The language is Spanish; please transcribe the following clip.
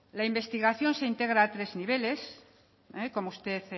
la investigación se integra a tres niveles como usted